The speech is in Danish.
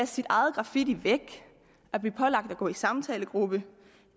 sin egen graffiti væk at blive pålagt at gå i samtalegruppe